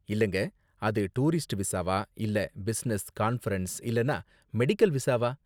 இல்லங்க, அது டூரிஸ்ட் விசாவா இல்ல பிசினஸ், கான்ஃபிரென்ஸ் இல்லனா மெடிக்கல் விசாவா?